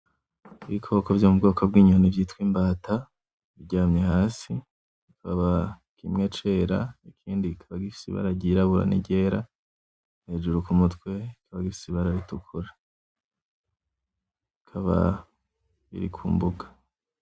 Ibikoko vyo mu bwoko vy'inyoni vyitwa imbata, biryamye hasi. Bikaba kimwe cera ikindi kikaba gifise ibara ry'irabura n'iryera hejuru ku mutwe rikakaba rifise ibara ritukura, bikaba biri ku mbuga.